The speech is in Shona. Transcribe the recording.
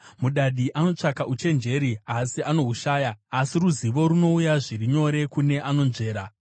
Mudadi anotsvaka uchenjeri asi anohushaya, asi ruzivo runouya zviri nyore kune anonzvera.